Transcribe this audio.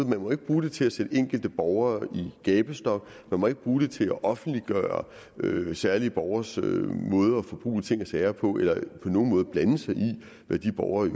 man må ikke bruge det til at sætte enkelte borgere i gabestok man må ikke bruge det til at offentliggøre særlige borgeres måde at forbruge ting og sager på eller på nogen måde blande sig i hvad de borgere i